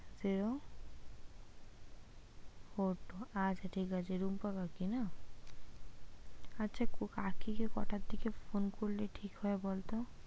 zero four two আচ্ছা ঠিক আছে রুম্পা কাকি না? আচ্ছা কাকি কে কটার দিকে phone করলে ঠিক হয় বলতো?